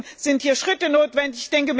Deswegen sind hier Schritte notwendig.